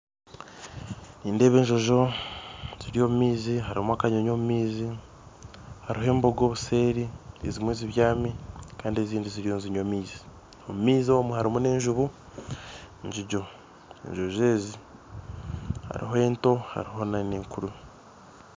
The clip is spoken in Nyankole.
Nindeeba enjojo ziri omu maizi, harumu akanyonyi omu maizi, hariho embogo obuseeri, ezimwe zibyami kandi ezindi ziriyo nizinywa amaizi. Omu maizi omu harimu n'enjubu, enjojo ezi hariho ento hariho na n'enkuru